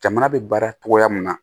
Jamana bɛ baara cogoya min na